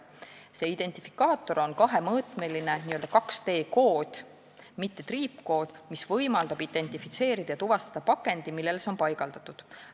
See identifikaator on kahemõõtmeline 2D-kood, mis võimaldab identifitseerida ja tuvastada pakendi, millele see on paigaldatud.